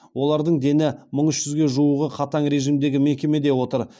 олардың дені мың үш жүзге жуығы қатаң режимдегі мекемеде отыр